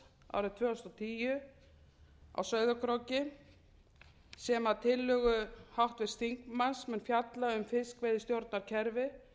árið tvö þúsund og tíu á sauðárkróki sem að tillögu háttvirts þingmanns mun fjalla um fiskveiðistjórnarkerfi